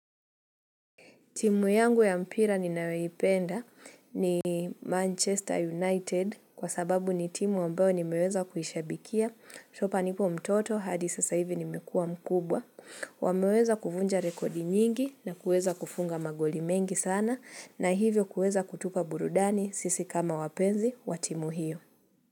Timu yangu ya mpira ninayoipenda ni Manchester United kwa sababu ni timu ambao nimeweza kuhishabikia. Chopa nipo mtoto hadi sasa hivi nimekua mkubwa. Wameweza kuvunja rekodi nyingi na kuweza kufunga magoli mengi sana na hivyo kuweza kutupa burudani sisi kama wapenzi wa timu hiyo.